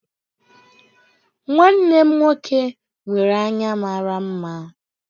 Nwanne m nwoke nwere anya mara mma